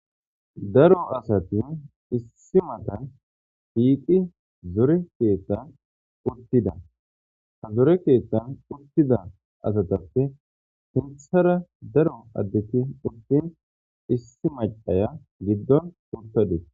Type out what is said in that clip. daro asati issi matan hiiqi zore keettan uttida ha zore keettan uttida asatappe hinthara daro addeki urtin issi macaya giddon urtadees